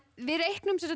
við reiknum